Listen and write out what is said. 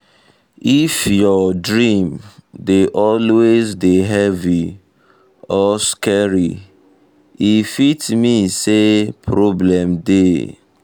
if your um dream dey always dey um heavy or scary e um fit mean say problem dey.